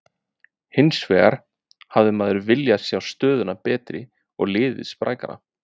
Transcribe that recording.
Hinsvegar hefði maður viljað sjá stöðuna betri og liðið sprækara.